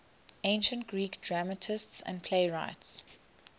ancient greek dramatists and playwrights